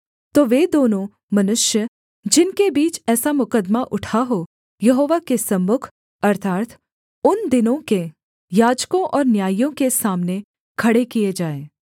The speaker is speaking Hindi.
तो वे दोनों मनुष्य जिनके बीच ऐसा मुकद्दमा उठा हो यहोवा के सम्मुख अर्थात् उन दिनों के याजकों और न्यायियों के सामने खड़े किए जाएँ